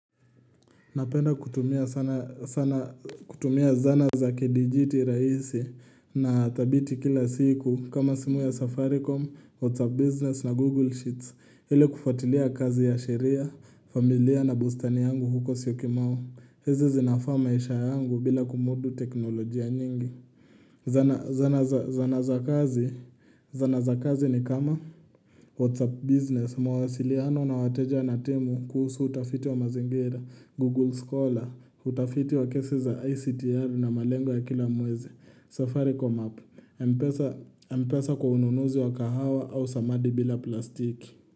Napenda kutumia sana sana kutumia zana za kidijiti rahisi na thabiti kila siku kama simu ya safaricom, whatsapp business na google sheets ili kufatilia kazi ya sheria, familia na bustani yangu huko siyokimau. Hizi zinafaa maisha yangu bila kumudu teknolojia nyingi. Zana za kazi ni kama WhatsApp business mawasiliano na wateja na timu kuhusu utafiti wa mazingira, Google Scholar, utafiti wa kesi za ICTR na malengo ya kila mwezi, Safaricom app, mpesa kwa ununuzi wa kahawa au samadi bila plastiki.